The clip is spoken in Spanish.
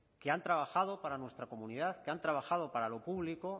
que han trabajado para nuestra comunidad que han trabajado para lo público